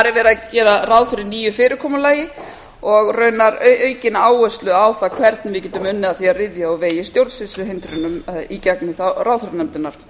það er verið að gera ráð fyrir nýju fyrirkomulagi og raunar aukna áherslu á það hvernig við getum unnið að því að ryðja úr vegi stjórnsýsluhindrunum í gegnum ráðherranefndirnar þar þurfum við